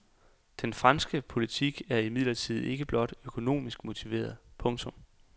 Den franske politik er imidlertid ikke blot økonomisk motiveret. punktum